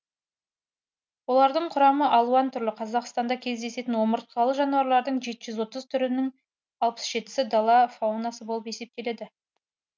олардың құрамы алуан түрлі қазақстанда кездесетін омыртқалы жануарлардың жеті жүз отыз түрінің алпыс жетісі дала фаунасы болып есептеледі